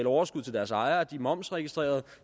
overskud til deres ejere de er momsregistrerede og